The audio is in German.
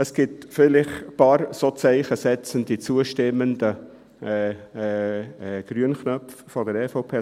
» Es gibt vielleicht ein paar solche zeichensetzende, zustimmende grüne Knöpfe der EVP.